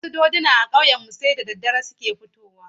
Wasu doduna a ƙauyenmu sai da daddare suke fitowa.